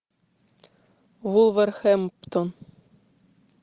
вулверхэмптон